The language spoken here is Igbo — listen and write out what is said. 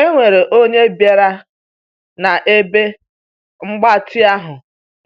E nwere onye bịara na ebe mgbatị ahụ